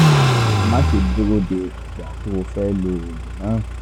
máṣe dúró de ìgbà tó o fẹ́ lo oògùn náà